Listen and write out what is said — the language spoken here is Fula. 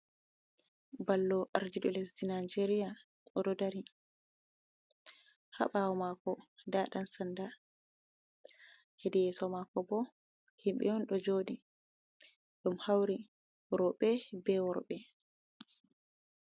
Ballo ardiɗo lesdi najeria oɗo dari. Haa ɓawo mako nda ɗan sanda, hedi yeso mako bo himɓe on ɗo joɗi, ɗum hauri rowɓe be worɓe.